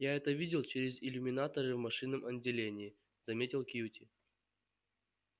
я это видел через иллюминаторы в машинном отделении заметил кьюти